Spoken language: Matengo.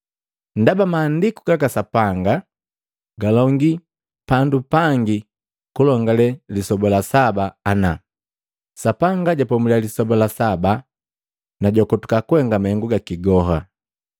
Ndaba maandiku gaka Sapanga galongi pandu pangi kulongale lisoba la saba ana: “Sapanga japomulia lisoba la saba na jwakotuka mahengu gaki goha.”